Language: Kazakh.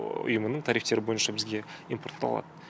ұйымының тарифтері бойынша бізге импортталады